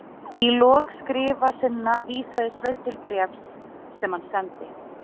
Í lok skrifa sinna vísaði Sveinn til bréfs sem hann sendi